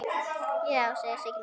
Já, já, Siggi minn.